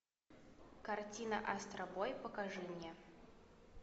картина астробой покажи мне